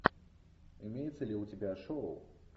имеется ли у тебя шоу